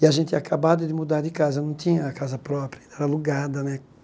E a gente tinha acabado de mudar de casa, não tinha casa própria, era alugada né.